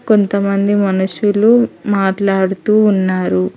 కొంతమంది మనుషులు మాట్లాడుతూ ఉన్నారు.